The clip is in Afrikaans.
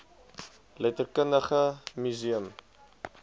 letterkundige mu seum